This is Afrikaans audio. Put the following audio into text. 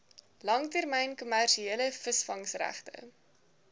langtermyn kommersiële visvangregte